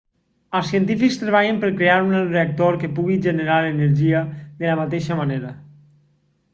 els científics treballen per crear un reactor que pugui generar energia de la mateixa manera